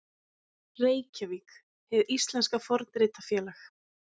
Reykjavík, Hið íslenska fornritafélag.